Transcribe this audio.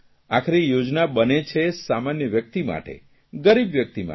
આખરે યોજના બને છે સામાન્ય વ્યકિત માટે ગરીબ વ્યકિત માટે